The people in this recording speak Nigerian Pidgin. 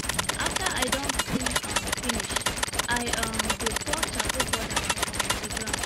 after i don clean um finish i um dey pour charcoal powder for um the ground